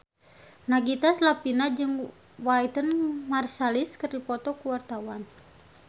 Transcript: Nagita Slavina jeung Wynton Marsalis keur dipoto ku wartawan